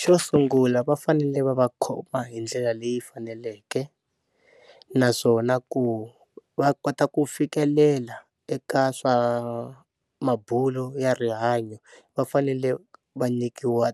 Xo sungula va fanele va va khoma hi ndlela leyi faneleke naswona ku va kota ku fikelela eka swa mabulo ya rihanyo va fanele va nyikiwa